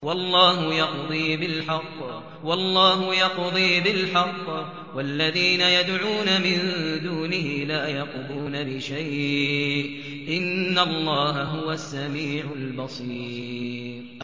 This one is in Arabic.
وَاللَّهُ يَقْضِي بِالْحَقِّ ۖ وَالَّذِينَ يَدْعُونَ مِن دُونِهِ لَا يَقْضُونَ بِشَيْءٍ ۗ إِنَّ اللَّهَ هُوَ السَّمِيعُ الْبَصِيرُ